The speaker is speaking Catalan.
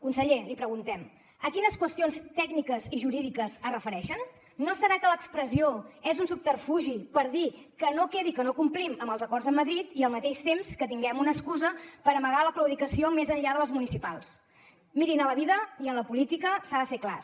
conseller li preguntem a quines qüestions tècniques i jurídiques es refereixen no deu ser que l’expressió és un subterfugi per dir que no quedi que no complim amb els acords amb madrid i al mateix temps que tinguem una excusa per amagar la claudicació més enllà de les municipals mirin a la vida i en la política s’ha de ser clars